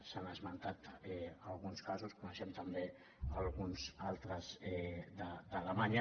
s’han esmentat alguns casos en coneixem també alguns altres d’alemanya